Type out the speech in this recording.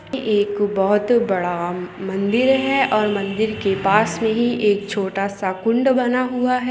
ये एक बहुत ही बड़ा मंदिर है और मंदिर के पास में ही छोटा -सा कुंड बना हुआ--